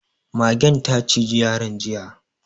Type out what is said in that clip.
Magen ta ciji yaron jiya.